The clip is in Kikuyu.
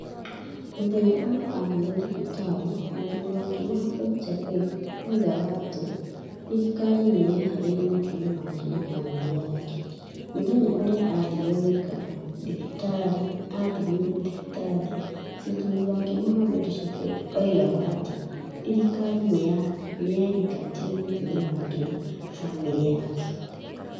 Mũthenya ũrĩa aathiire thibitarĩ, mũthuri wake Mohamed Shafeek, oigaga atĩ thirikari nĩ yeehereirie mũtumia wake na famĩlĩ yake. mũthenya ũrĩa aathiire gũikara thibitarĩaathamirio thibitarĩ, mũthuri wake Mohamed Shafeek, oigaga atĩ thirikari nĩ yaingatire mũtumia wake na famĩlĩ yake.